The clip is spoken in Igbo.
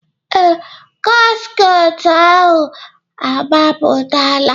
Ee, gasket ahụ agbapụtala